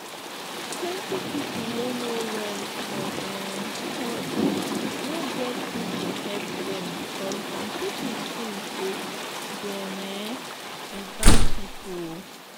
plenty people wey no well for um head no get who to help them because some people thing say them um be bad people. um